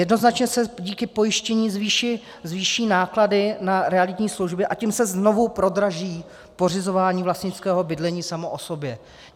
Jednoznačně se díky pojištění zvýší náklady na realitní služby, a tím se znovu prodraží pořizování vlastnického bydlení samo o sobě.